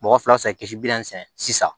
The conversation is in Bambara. Mɔgɔ fila bɛ se ka kisi bi naani fɛ sisan